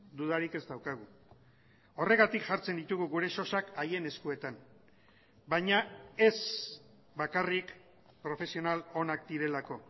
dudarik ez daukagu horregatik jartzen ditugu gure sosak haien eskuetan baina ez bakarrik profesional onak direlako